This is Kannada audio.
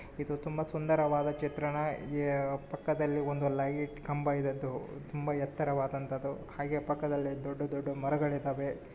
ಇದು ತುಂಬಾ ಸುಂದರವಾದ ಚಿತ್ರಣ ಈ ಪಕ್ಕದಲ್ಲಿ ಒಂದು ಲೈಟ್ ಕಂಬ ಇರದು ತುಂಬಾ ಎತ್ತರವಾದಂತದ್ದು ಹಾಗೆ ಪಕ್ಕದಲ್ಲಿ ದೊಡ್ಡ ದೊಡ್ಡ ಮರಗಳು ಇದಾವೆ.